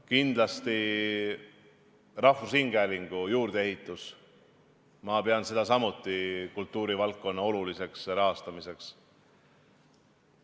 Kindlasti rahvusringhäälingu juurdeehitus, ma pean seda samuti kultuurivaldkonna oluliseks rahastamiseks.